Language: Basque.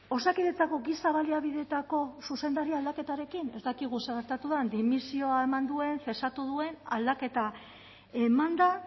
osakidetzako giza baliabideetako zuzendaria aldaketarekin ez dakigu zer gertatu den dimisioa eman duen cesatu duen aldaketa eman da